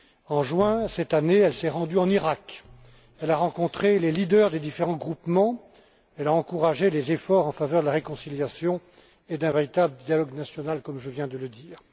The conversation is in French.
En juin de cette année, elle s'est rendue en Iraq, elle y a rencontré les leaders des différents groupements et a encouragé les efforts en faveur de la réconciliation et d'un véritable dialogue national, comme je viens de le dire.